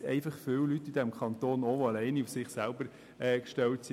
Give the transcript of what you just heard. Es gibt aber viele Leute hier im Kanton, die auf sich selbst gestellt sind.